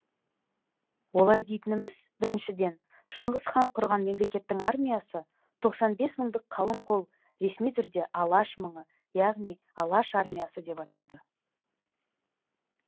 олай дейтініміз біріншіден шыңғыс хан құрған мемлекеттің армиясы тоқсан бес мыңдық қалың қол ресми түрде алаш мыңы яғни алаш армиясы деп аталды